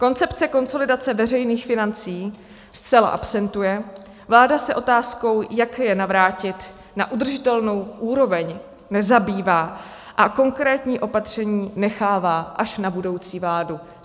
Koncepce konsolidace veřejných financí zcela absentuje, vláda se otázkou, jak je navrátit na udržitelnou úroveň, nezabývá a konkrétní opatření nechává až na budoucí vládu.